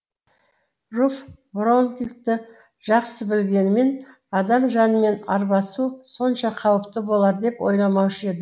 руфь броунингті жақсы білгенімен адам жанымен арбасу сонша қауіпті болар деп ойламаушы еді